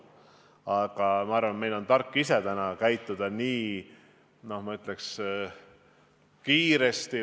Aga ma arvan, et meil on tark käituda täna nii kiiresti kui võimalik.